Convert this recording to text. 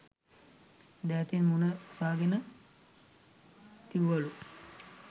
දෑතින් මූණ වසාගෙන දිව්වලු.